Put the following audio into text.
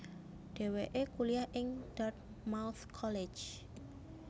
Dhèwèké kuliah ing Dartmouth College